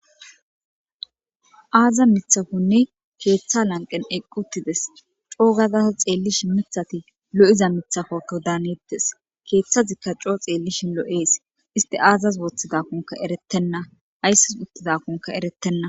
Hassa mithafonne keeththa lanqen eqquttides coo gadasa xeellishi mithati lo'iza mithafoko daanettes keeththazikka coo xeellishi lo' ees iste aazas wooththidakkunka erettenna haysses uttidakunka erettenna.